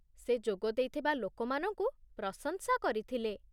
ସେ ଯୋଗଦେଇଥିବା ଲୋକମାନଙ୍କୁ ପ୍ରଶଂସା କରିଥିଲେ